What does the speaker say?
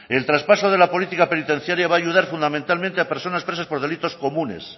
el traspaso de la política penitenciaria va a ayudar fundamentalmente a personas presas por delitos comunes